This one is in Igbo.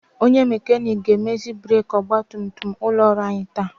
Onye mekanik ga-emezi breki ọgbatumtum ụlọ ọrụ anyị taa.